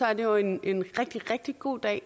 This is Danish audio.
er det jo en rigtig rigtig god dag